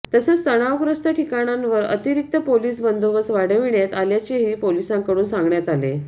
तसेच तणावग्रस्त ठिकाणांवर अतिरिक्त पोलीस बंदोबस्त वाढविण्यात आल्याचेही पोलिसांकडून सांगण्यात आले